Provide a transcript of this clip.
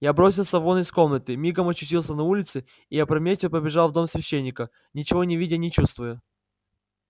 я бросился вон из комнаты мигом очутился на улице и опрометью побежал в дом священника ничего не видя и не чувствуя